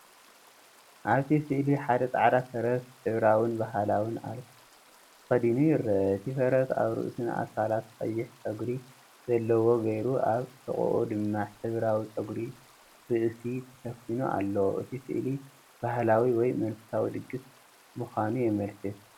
ኣብቲ ስእሊ ሓደ ጻዕዳ ፈረስ ሕብራዊን ባህላውን ኣልከ ተኸዲኑ ይርአ። እቲ ፈረስ ኣብ ርእሱን ኣካላቱን ቀይሕ ጸጉሪ ዘለዎ ጌይሩ ኣብ ሕቖኡ ድማ ሕብራዊ ጸጉሪ ርእሲ ተሸፊኑ ኣሎ። እቲ ስእሊ ባህላዊ ወይ መንፈሳዊ ድግስ ምኳኑ የምልክት።